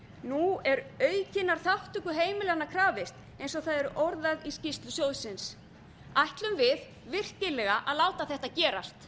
nú er aukinnar þátttöku heimilanna krafist eins og það orðað í skýrslu sjóðsins ætlum við virkilega að láta þetta gerast